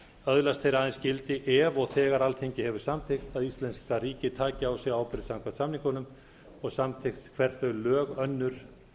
öðlast þeir aðeins gildi ef og þegar alþingi hefur samþykkt að íslenska ríkið taki á sig ábyrgð samkvæmt samningunum og samþykkt hver þau lög önnur